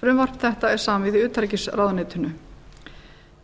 frumvarp þetta er samið í utanríkisráðuneytinu